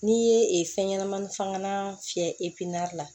N'i ye fɛn ɲɛnɛmani fagalan fiyɛ la